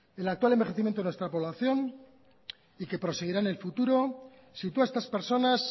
el actual envejecimiento en nuestra población y que proseguirá en el futuro sitúa a estas personas